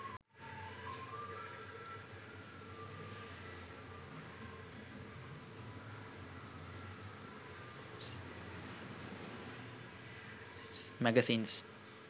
magazines